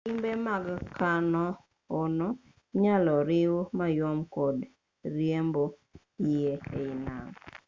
limbe mag kano-ono inyalo riwu mayom kod riembo yie e i nam